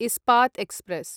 Ispat express